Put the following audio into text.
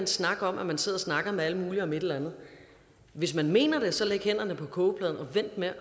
snak om at man sidder og snakker med alle mulige om et eller andet hvis man mener det så læg hænderne på kogepladen og vent med at